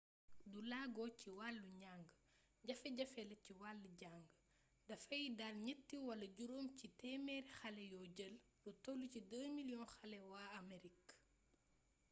du laago ci wàll njàng jafe-jafe la ci wall jàng dafay dal ñett wala juróom c téemeer xale yoo jël lu toll ci 2 miliyong xale waa amerik